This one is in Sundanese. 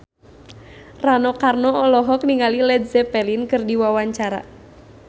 Rano Karno olohok ningali Led Zeppelin keur diwawancara